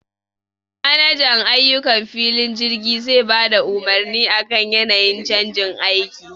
Manajan ayukan filin jirgi zai bada umurni akan yanayin canjin aiki